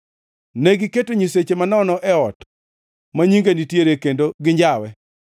Negiketo nyisechegi manono e ot ma Nyinga nitiere kendo ginjawe.